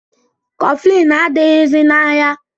Kọflin adịghịzi n'ahịa